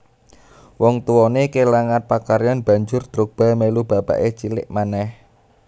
Wong tuwanè kelangan pakaryan banjur Drogba melu bapakè cilik manèh